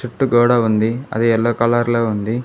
చుట్టూ గోడ ఉంది అది ఎల్లో కలర్లో ఉంది.